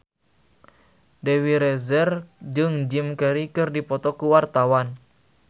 Dewi Rezer jeung Jim Carey keur dipoto ku wartawan